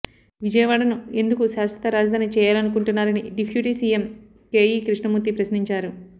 విజయవాడను ఎందుకు శాశ్వత రాజధాని చేయాలనుకుంటున్నారని డిఫ్యూటీ సీఎం కేఈ కృష్ణమూర్తి ప్రశ్నించారు